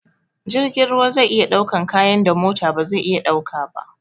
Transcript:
Jirgin ruwa zai iya ɗaukan kayan da mota ba zai iya ɗaukawa ba